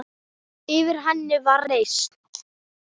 Yfir henni var reisn.